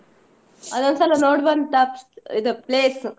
ಅದೊಂದ್ಸಲ ನೋಡವಂಥ ಪ್~ ಇದು place .